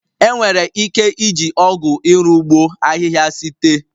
Enwere ike iji ọgụ iru ụgbọ ahịhịa site.